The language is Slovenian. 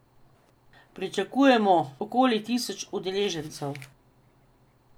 Pričakujejo okoli tisoč udeležencev.